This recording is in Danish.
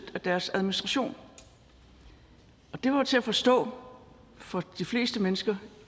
af deres administration og det var jo til at forstå for de fleste mennesker